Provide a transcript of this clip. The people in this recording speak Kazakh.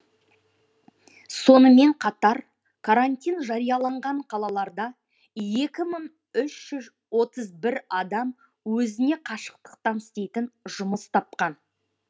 сонымен қатар карантин жарияланған қалаларда екі мың үш жүз отыз бір адам өзіне қашықтықтан істейтін жұмыс тапқан